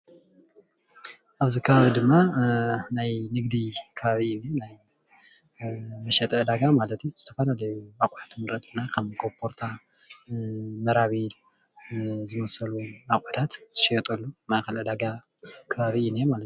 ኣብዚ ከባቢ ድማ ናይ ንግዲ ከባቢ እዩ ናይ መሸጢ ዕዳጋ ማለት እዩ፡፡ ዝተፈላለዩ ኣቁሕት ንርኢ ኣለና ከም ኮቦርታ መራቢል ዝመሰሉ ኣቁሕታት ዝሽየጠሉ ማእከል ዕዳጋ ከባቢ እዩ ዝነሄ ማለት እዩ፡፡